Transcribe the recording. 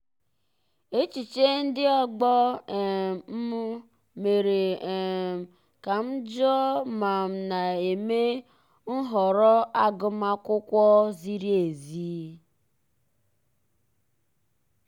echiche ndị ọgbọ um m mere um ka m jụọ ma m na-eme nhọrọ agụmakwụkwọ ziri ezi.